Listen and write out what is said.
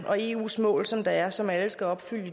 og eus mål som der er og som alle skal opfylde